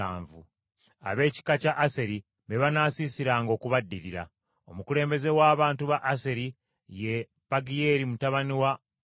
Ab’ekika kya Aseri be banaasiisiranga okubaddirira. Omukulembeze w’abantu ba Aseri ye Pagiyeeri mutabani wa Okulaani.